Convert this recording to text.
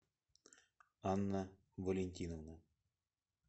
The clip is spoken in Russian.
анна валентиновна